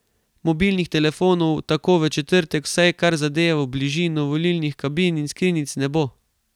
Mobilnih telefonov tako v četrtek, vsaj kar zadevo bližino volilnih kabin in skrinjic, ne bo.